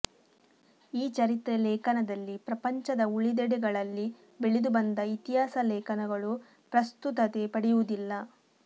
ಈ ಚರಿತ್ರೆ ಲೇಖನದಲ್ಲಿ ಪ್ರಪಂಚದ ಉಳಿದೆಡೆಗಳಲ್ಲಿ ಬೆಳೆದು ಬಂದ ಇತಿಹಾಸ ಲೇಖನಗಳು ಪ್ರಸ್ತುತತೆ ಪಡೆಯುವುದಿಲ್ಲ